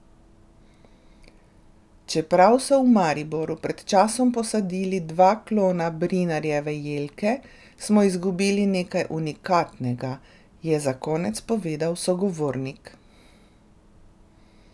Čeprav so v Mariboru pred časom posadili dva klona Brinarjeve jelke, smo izgubili nekaj unikatnega, je za konec povedal sogovornik.